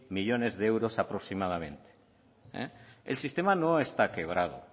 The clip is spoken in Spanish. millónes de euros aproximadamente el sistema no está quebrado